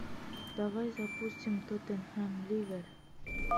давай запустим тоттенхэм ливер